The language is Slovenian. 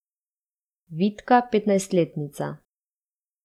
Vitka petnajstletnica.